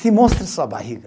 Sim, mostra sua barriga.